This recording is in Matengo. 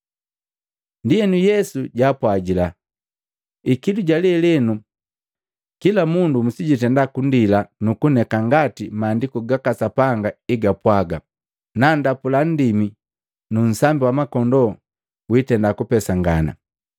Ndienu Yesu jaapwajila, “Ikilu ja lelenu, kila mundu musijundenda kundila nukuneka ngati Maandiku gaka Sapanga egapwaga, ‘Nandapula nndimi, nu nsambi wa makondoo wiitenda kupesangana.’